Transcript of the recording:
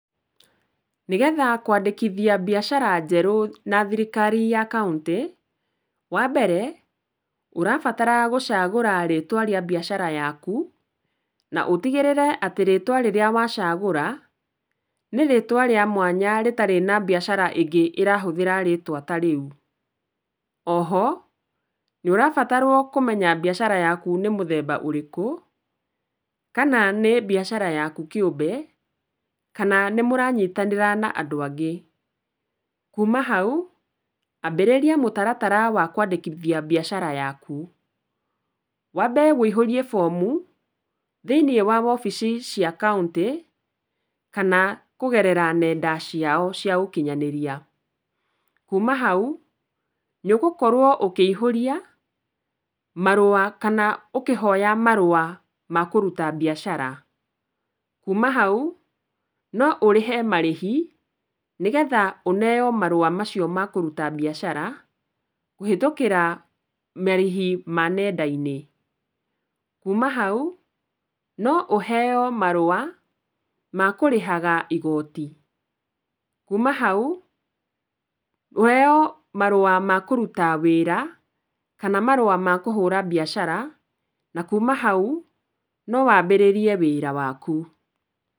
Nĩ getha kwandĩkithia mbiacara njerũ na thirikari ya kaũntĩ, wa mbere ũrabatara gũcagũra rĩtwa rĩa mbiacara yaku, na utigĩrĩre atĩ rĩtwa rĩrĩa wacagũra ni rĩtwa rĩa mwanya rĩtarĩ na mbiacara ĩngĩ ĩrahũthĩra rĩtwa ta rĩu. Oho, nĩ ũrabatarwo kũmenya mbiacara yaku nĩ mũthemba ũrĩkũ kana na nĩ mbiacara yaku kĩũmbe, kana nĩ mũranyitanĩra na andũ angĩ. Kuma hau ambĩrĩria mũtaratara wa kwandĩkithia mbiacara yaku. Wambe ũihũrie bomu thĩ-inĩ wa wobici cia kaũntĩ kana kũgerera ng'enda ciao cia ũkinyanĩria. Kuma hau, nĩ ũgũkorwo ũkĩihũria marũa kana ũkĩhoya marũa ma kũruta mbiacara. Kuma hau, no ũrĩhe marĩhi nĩ getha ũneo marũa macio ma kũruta mbiacara kũhetũkĩra marĩhi ma ngenda-inĩ. Kuma hau, no ũheo marũa ma kũrĩhaga igoti. Kuma hau, ũheo marũa ma kũruta wĩra kana marũa ma kũhũra mbiacara, na kuma hau no wambĩrĩrie wĩra waku.